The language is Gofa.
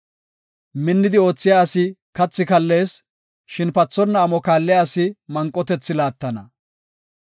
Minnidi oothiya asi kathi kallees; shin pathonna amo kaalliya asi manqotethi laattana.